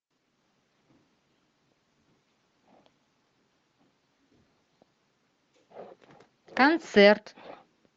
концерт